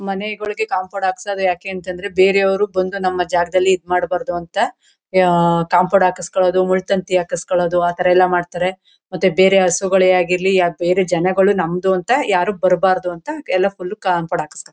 ಮನೆಯೊಳೆಗೆ compound ಹಖ್ಸ್ಬೇಕ ಯಾಕೆ ಅಂತ ಅಂದ್ರೆ ಬೇರೆಯವರು ಬಂದು ನಮ್ಮ ಜಗದಲ್ಲಿ ಇದ್ ಮಾಡಬಾರದು ಅಂತ ಅಹ್ ಅಹ್ ಅಹ್ ಕಾಂಪೋಂಡ್ ಹಾಕೋಲ್ಸೋದು ಮುಳ್ಳು ತಂತಿ ಹಾಕೋಲ್ಸೋದು ಆ ತಾರಾ ಎಲ್ಲ ಮಾಡ್ತಾರೆ ಮತ್ತೆ ಬೇರೆ ಹಸುಗಲ್ಲಾಗಲಿ ಬೇರೆ ಜನಗಳು ನಮ್ದು ಅಂತ ಯಾರು ಬರಬಾರದು ಅಂತ ಎಲ್ಲ ಫುಲ್ ಕಾಂಪೋಂಡ್ ಹಾಕ್ಸ್ತಾರೆ.